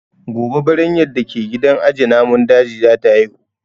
Gobe Biranyar da ke gidan aje namun dajin za ta haihu